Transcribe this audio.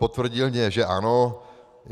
Potvrdil mi, že ano.